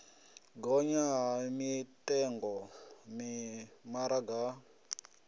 gonya ha mitengo mimaraga ya